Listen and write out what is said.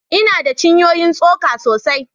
Ina da cinyoyin tsoka sosai